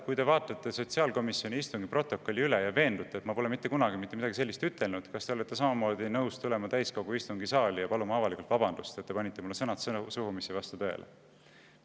Kui te vaatate sotsiaalkomisjoni istungi protokolli üle ja veendute, et ma pole mitte kunagi mitte midagi sellist öelnud, siis kas te olete nõus tulema täiskogu istungisaali ja paluma avalikult vabandust, et panite mulle suhu sõnad, mis ei vasta tõele.